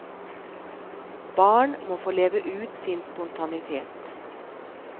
Barn må få leve ut sin spontanitet.